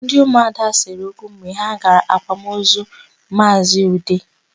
Ndị ụmụada sere okwu mgbe ha gara akwamaozu Maazị Ude.